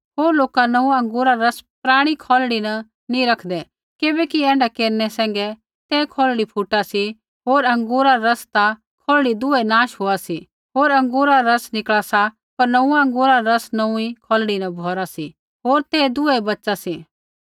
होर लोका नोंऊँआं अँगूरा रा रस पराणी खौलड़ी न नी रैखदै किबैकि ऐण्ढा केरनै सैंघै ते खौलड़ी फुटा सी होर अँगूरा रा रस ता खौलड़ी दुहै नाश होआ सी होर अँगूरा रा रस निकल़ा सा पर नोंऊँआं अँगूरा रा रस नोऊँई खौलड़ी न भौरा सी होर ते दुहै बच़ा सी